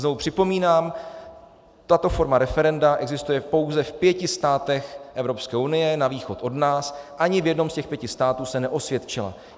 Znovu připomínám, tato forma referenda existuje pouze v pěti státech Evropské unie na východ od nás, ani v jednom z těch pěti států se neosvědčila.